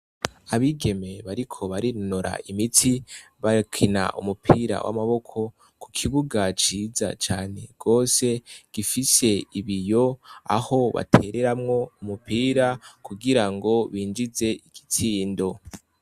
Abigeme bariko barinonor' imitsi bakin' umupira w' amaboko, kukibuga ciza cane gose gifis' ibiy' aho batereramw' umupira kugira binjizemw' igitsindo, hakikujwe n' ibiti vyiza bitotahaye hamwe n' amazu.